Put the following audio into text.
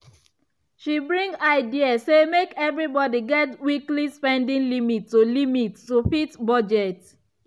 she bring idea say make everybody get weekly spending limit to limit to fit budget.